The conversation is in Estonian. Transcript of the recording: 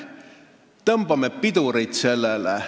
Tõmbame sellele pidurit!